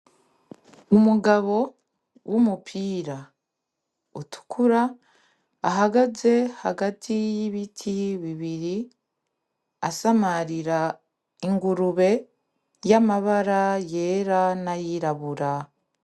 Umugabo w'umupira utukura ahagaze hagati y'ibiti bibiri asamarira ingurube y'amabara yera n'ayirabura.